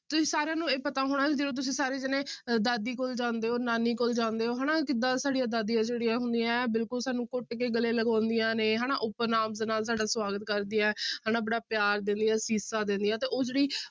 ਤੁਸੀਂ ਸਾਰਿਆਂ ਨੂੰ ਇਹ ਪਤਾ ਹੋਣਾ ਜਦੋਂ ਤੁਸੀਂ ਸਾਰੇ ਜਾਣੇ ਦਾਦੀ ਕੋਲ ਜਾਂਦੇ ਹੋ ਨਾਨੀ ਕੋਲ ਜਾਂਦੇ ਹੋ ਹਨਾ ਕਿੱਦਾਂ ਸਾਡੀਆਂ ਦਾਦੀਆਂ ਜਿਹੜੀਆਂ ਹੁੰਦੀਆਂ ਹੈ ਬਿਲਕੁਲ ਸਾਨੂੰ ਘੁੱਟ ਕੇ ਗਲੇ ਲਗਾਉਂਦੀਆਂ ਨੇ ਹਨਾ open arms ਦੇ ਨਾਲ ਤੁਹਾਡਾ ਸਵਾਗਤ ਕਰਦੀ ਹੈ ਹਨਾ ਬੜਾ ਪਿਆਰ ਦਿੰਦੀਆਂ, ਅਸੀਸਾਂ ਦਿੰਦੀਆਂ ਤੇ ਉਹ ਜਿਹੜੀ